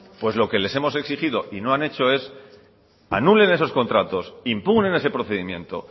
pues lo que les hemos exigido y no han hecho es anulen esos contratos impugnen ese procedimiento